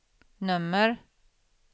nummer